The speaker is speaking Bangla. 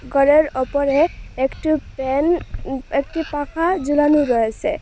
ঘরের ওপরে একটি প্যান উম একটি পাখা ঝোলানো রয়েসে।